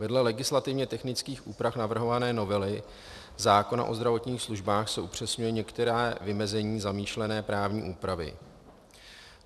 Vedle legislativně technických úprav navrhované novely zákona o zdravotních službách se upřesňují některá vymezení zamýšlené právní úpravy.